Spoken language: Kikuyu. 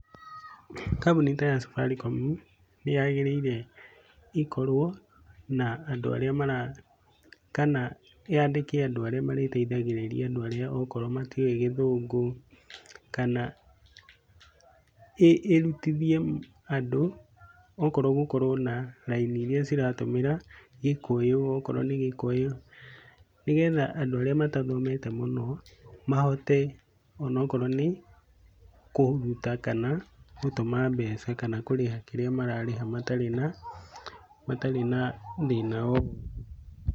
Kambuni ta ya Safaricom ,ni yagĩrĩire ĩkorwo na andũ arĩa mara, kana yandike andũ arĩa marĩteithagĩrĩria andũ arĩa okorwo matiũĩ gĩthũngũ, kana ĩrutithie andũ okorwo gũkorwo na raini iria ciratũmĩra gĩkũyũ, okorwo nĩ gĩkũyũ. Nĩgetha andũ arĩa matathomete mũno mahote onokorwo ni kũruta kana gũtũma mbeca kana kũrĩha kĩrĩa mararĩha matarĩ na matarĩ na thĩna o wothe.